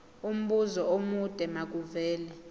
umbuzo omude makuvele